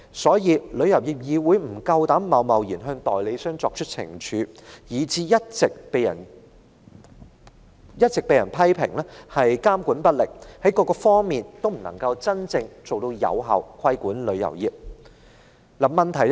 因此，旅議會不敢貿然懲處代理商，以致一直被人批評監管不力，在各個方面均未能真正有效規管旅遊業。